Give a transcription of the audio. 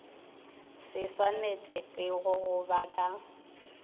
se swanetpego go ba ka